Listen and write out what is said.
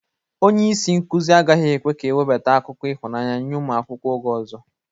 Onye isi nkuzi agaghị ekwe ka ewebata akụkọ ịhụnanya nye ụmụ akwụkwọ oge ọzọ